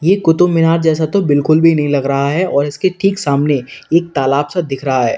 ये कुतुबमीनार जैसा तो बिल्कुल भी नहीं लग रहा है और इसके ठीक सामने एक तालाब सा दिख रहा हैं।